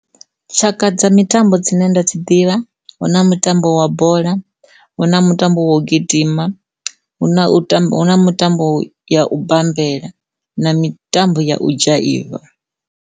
Tshaka dza mitambo dzine nda dzi ḓivha huna mutambo wa bola, hu na mutambo wa u gidima, hu na hu na mutambo ya u bambela na mitambo ya u dzhaiva.